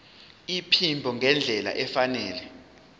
iphimbo ngendlela efanele